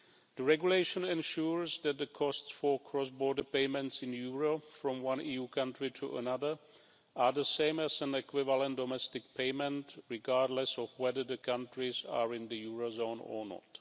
The regulation ensures that the costs for cross border payments in euro from one EU country to another are the same as an equivalent domestic payment, regardless of whether the countries are in the eurozone or not.